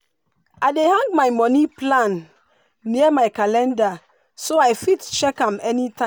i dey hang my money plan near my calendar so i fit check am anytime.